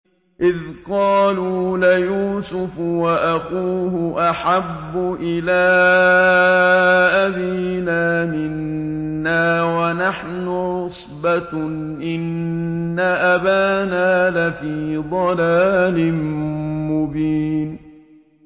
إِذْ قَالُوا لَيُوسُفُ وَأَخُوهُ أَحَبُّ إِلَىٰ أَبِينَا مِنَّا وَنَحْنُ عُصْبَةٌ إِنَّ أَبَانَا لَفِي ضَلَالٍ مُّبِينٍ